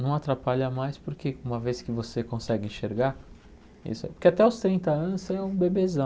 Não atrapalha mais porque uma vez que você consegue enxergar isso... Porque até os trinta anos você é um bebezão.